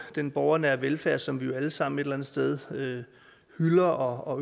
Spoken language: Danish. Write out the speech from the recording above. den borgernære velfærd som vi jo alle sammen et eller andet sted hylder og